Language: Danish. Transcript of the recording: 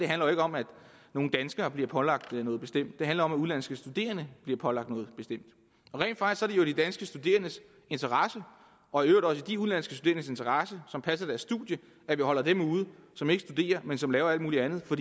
handler jo ikke om at nogle danskere bliver pålagt noget bestemt det handler om at udenlandske studerende bliver pålagt noget bestemt rent faktisk er det jo i de danske studerendes interesse og i øvrigt også i de udenlandske studerendes interesse som passer deres studier at vi holder dem ude som ikke studerer men som laver alt mulig andet for